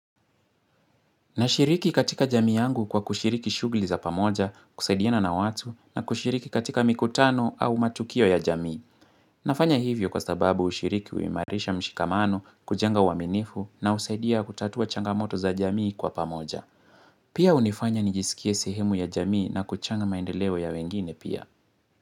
Nashiriki katika jamii yangu kwa kushiriki shughli za pamoja, kusaidiana na watu, na kushiriki katika mikutano au matukio ya jamii. Nafanya hivyo kwa sababu ushiriki uimarisha mshikamano, kujenga uaminifu, na husaidia kutatua changamoto za jamii kwa pamoja. Pia unifanya nijisikie sehemu ya jamii na kuchana maendeleo ya wengine pia.